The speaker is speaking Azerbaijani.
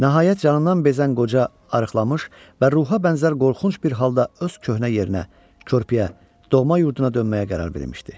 Nəhayət canından bezən qoca arıqlamış və ruha bənzər qorxunc bir halda öz köhnə yerinə, körpüyə, doğma yurduna dönməyə qərar vermişdi.